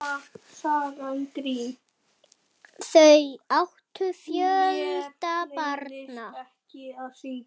Þau áttu fjölda barna.